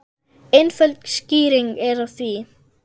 Einföld skýring er á því.